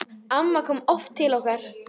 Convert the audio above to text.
Amma kom oft til okkar.